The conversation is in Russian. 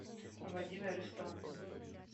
владимир истомин